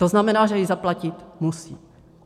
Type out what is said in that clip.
To znamená, že ji zaplatit musí.